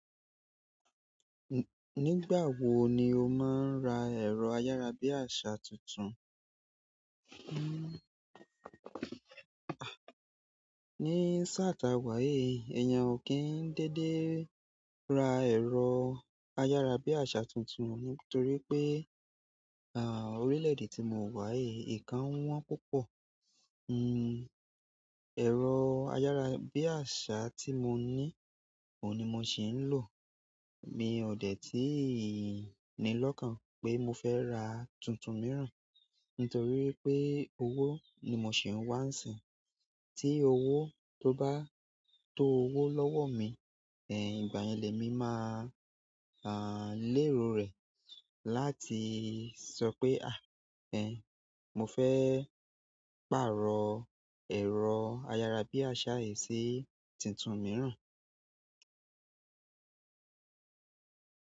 Nigbawo ni o maa n ra ero ayarabiasa tuntun. Ní sà tà wà yì ẹ̀eyan ò kí ń dédé ra ẹ̀rọ ayárabíàṣá tuntun nítorí pé, orílẹ̀-èdè tí mo wà yìí, nnkàń wọ́n púpọ̀. Ẹ̀rọ ayárabíàṣá tí mo ní, òun ni mo ṣì ń lò. Mi ò dè tíì ní lọ́kàn pé mo fẹ́ ra tuntun mìíràn, nítorí pé owó ni mo ṣì ń wá nsìnyi. Tí owó tó bá tó owó lọ́wọ́ mi, ìgbà yen le mi máa, lérò rẹ̀ láti sọ pé ẹhn, mo fẹ́ pàrọ̀ ẹ̀rọ ayárabíàṣá yìí sí tuntun mìíràn.